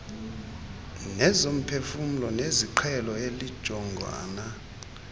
nezomphefumlo zesiqhelo elijongana